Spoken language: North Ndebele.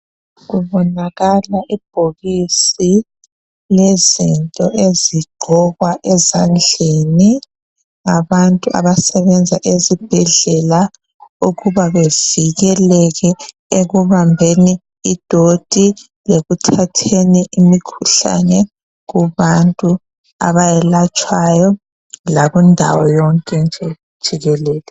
Kubonakala ibhokisi lezinto ezigqokwa ezadleni labantu abasebenza esibhedlela okuba bevikeleke ekubambeni idoti lekuthatheni imkhuhlane kubantu ayelatshwayo lakundawo yonke nje jikelele.